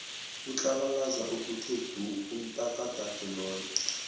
utlabalaza okuthe du umtakadade loya